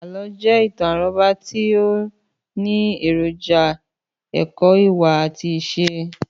Àlọ́ jẹ́ ìtàn àrọ́bá tí ó ní èròjà èkó ìwà àti ìṣe.